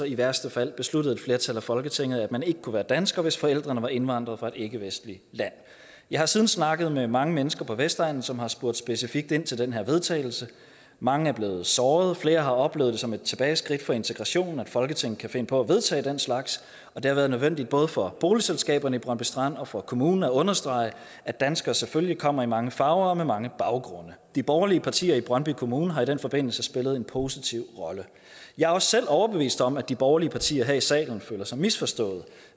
i værste fald besluttede et flertal af folketinget at man ikke kunne være dansker hvis forældrene var indvandret fra et ikkevestligt land jeg har siden snakket med mange mennesker på vestegnen som har spurgt specifikt ind til den her vedtagelse og mange er blevet såret og flere har oplevet det som et tilbageskridt for integrationen at folketinget kan finde på at vedtage den slags og det har været nødvendigt både for boligselskaberne i brøndby strand og for kommunen at understrege at danskere selvfølgelig kommer i mange farver og med mange baggrunde de borgerlige partier i brøndby kommune har i den forbindelse spillet en positiv rolle jeg er også selv overbevist om at de borgerlige partier her i salen føler sig misforstået